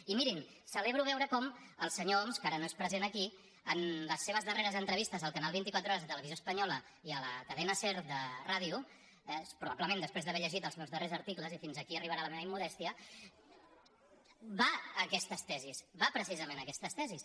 i mirin celebro veure com el senyor homs que ara no és present aquí en les seves darreres entrevistes al canal vint quatre horas de televisió espanyola i a la cadena ser de ràdio probablement després d’haver llegit els meus darrers articles i fins aquí arribarà la meva immodèstia va a aquestes tesis va precisament a aquestes tesis